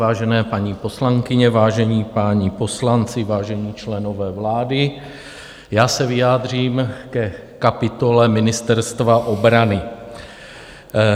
Vážené paní poslankyně, vážení páni poslanci, vážení členové vlády, já se vyjádřím ke kapitole Ministerstva obrany.